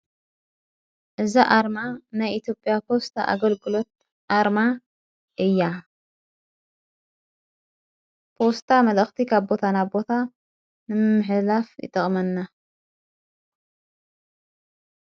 እዛ ኣርማ ናይ ኢትዮጵያ ፖስታ ኣገልግሎት ኣርማ እያ ፖስታ መልአኽቲኽ ካብ ቦታ ናቦታ ንምሕላፍ ይጠቕመና።